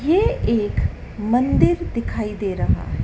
ये एक मंदिर दिखाई दे रहा है।